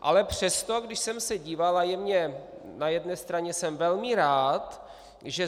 Ale přesto, když jsem se díval a je mně - na jedné straně jsem velmi rád, že